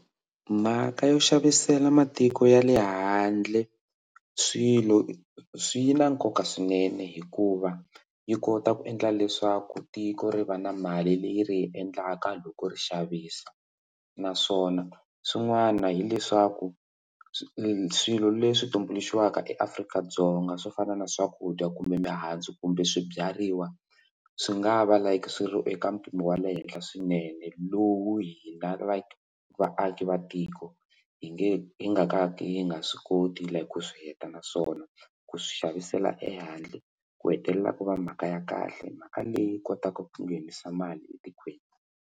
Mhaka yo xavisela matiko ya le handle swilo swi yi na nkoka swinene hikuva yi kota ku endla leswaku tiko ri va na mali leyi ri endlaka loko ri xavisa naswona swin'wana hileswaku swilo leswi tumbuluxiwaka eAfrika-Dzonga swo fana na swakudya kumbe mihandzu kumbe swibyariwa swi nga va like swi ri eka mpimo wa le henhla swinene lowu hina like vaki vaaki va tiko yi nge yi nga ka ka yi nga swi koti leyi ku swi heta naswona ku swi xavisela ehandle ku hetelela ku va mhaka ya kahle mhaka leyi kotaka ku nghenisa mali etikweni.